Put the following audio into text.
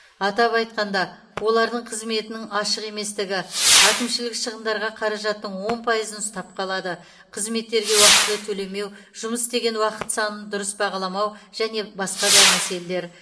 атап айтқанда олардың қызметінің ашық еместігі әкімшілік шығындарға қаражаттың он пайызын ұстап қалады қызметтерге уақтылы төлемеу жұмыс істеген уақыт санын дұрыс бағаламау және басқа да мәселелер